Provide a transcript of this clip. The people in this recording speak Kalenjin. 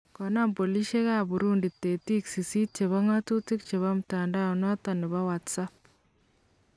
Konam polisiekap Burundi tetik sisit chebo ng'atutik chebo mtandao notok nebowhats app